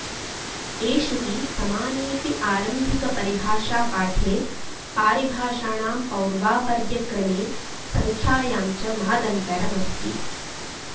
एषु हि समानेऽपि आरम्भिकपरिभाषापाठे पारिभाषाणां पौर्वापर्यक्रमे सङ्ख्यायाञ्च महदन्तरमस्ति